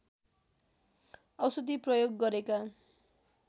औषधि प्रयोग गरेका